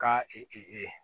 Ka